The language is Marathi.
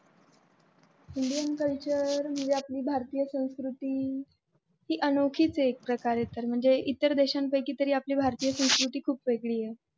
indian Culture म्हणजे आपली भारतीय संस्कृती ती अनोखीच आहे एक प्रकारे तर म्हणजे इतर देशांपैकी तरी आपली भारतीय संस्कृती खूप वेगळी आहे.